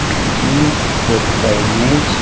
ఈ యొక్క ఇమేజ్ .